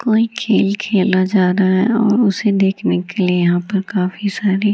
कोई खेल खेला जा रहा है और उसे देखने के लिए यहां पर काफी सारी --